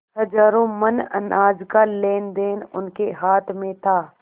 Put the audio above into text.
हजारों मन अनाज का लेनदेन उनके हाथ में था